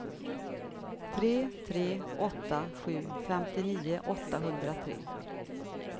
tre tre åtta sju femtionio åttahundratre